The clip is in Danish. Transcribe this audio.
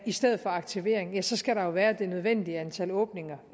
i stedet for aktivering ja så skal der jo være det nødvendige antal åbninger